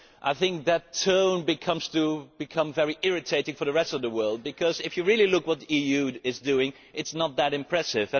I think that tone has become very irritating for the rest of the world, because if you really look at what the EU is doing, it is not that impressive.